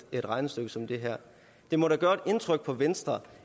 regnestykke som det her det må da gøre indtryk på venstre